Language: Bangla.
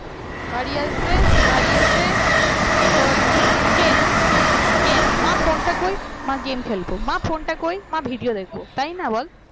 বাড়ি আসবে বাড়ি এসে তোর game game মা ফোনটা কই মা game খেলব মা ফোনটা কই মা video দেখব তাই না বল